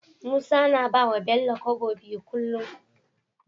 Musa na bawa bello kobo biyu kullun